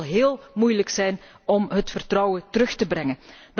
zo zal het heel moeilijk zijn om het vertrouwen terug te brengen.